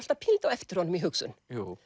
alltaf pínulítið á eftir honum í hugsun